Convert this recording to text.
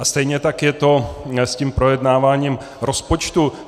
A stejně tak je to s tím projednáváním rozpočtu.